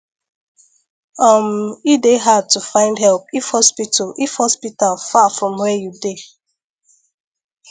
um e dey hard to find help if hospital if hospital far from where you dey